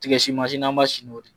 Tigɛsin n'an b'a sin n'o de ye.